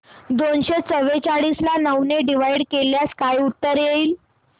दोनशे चौवेचाळीस ला नऊ ने डिवाईड केल्यास काय उत्तर येईल